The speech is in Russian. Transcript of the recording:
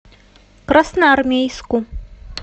красноармейску